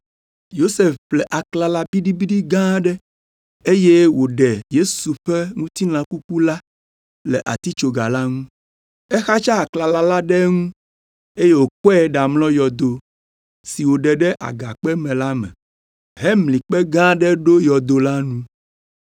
Yosef ƒle aklala biɖibiɖi gã aɖe, eye woɖe Yesu ƒe ŋutilã kuku la le atitsoga la ŋu. Exatsa aklala la ɖe eŋu eye wòkɔe ɖamlɔ yɔdo, si woɖe ɖe agakpe me la me, hemli kpe gã aɖe ɖo yɔdo la nu.